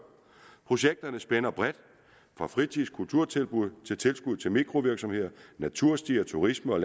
projekterne spænder bredt fra fritids og kulturtilbud til tilskud til mikrovirksomheder naturstier turisme og